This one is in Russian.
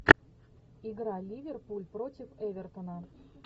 игра ливерпуль против эвертона